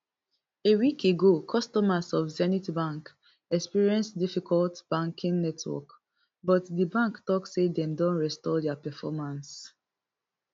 a week ago customers of zenith bank experience difficult banking network but di bank tok say dem don restore dia performance